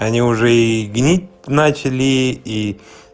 они уже и гнить начали и